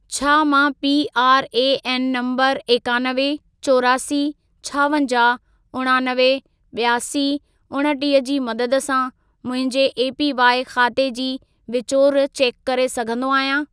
छा मां PRAN number एकानवे, चोरासी, छावंजाहु, उणानवे, ॿियासी, उणटीह जी मदद सां मुंहिंजे एपीवाइ ख़ाते जी विचूर चेक करे सघंदो आहियां?